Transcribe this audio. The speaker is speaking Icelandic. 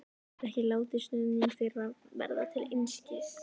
Ég get ekki látið stuðning þeirra verða til einskis.